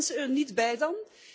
Horen die mensen er niet bij dan?